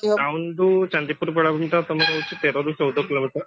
town ଠୁ ଚାନ୍ଦିପୁର ବେଳାଭୂମି ଟା ତମର ହଉଛି ତେରରୁ ଚଉଦ kilometer